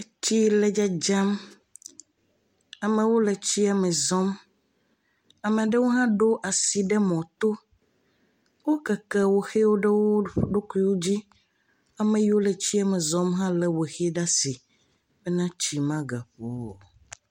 Tsi le Dzama. Ame ɖewo le tsia me zɔm. Ame ɖewo hã ɖo nu ɖe mɔto. Wo keke wɔxi ɖe wò ɖokui dzi, ke ame yawo le zɔzɔm hã le wɔxiwɔ ɖe asi.